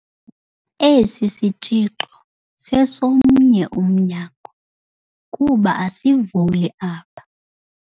Esi sitshixo sesomnye umnyango kuba asivuli apha.